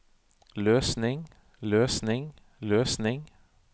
løsning løsning løsning